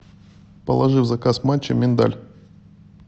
положи в заказ матча миндаль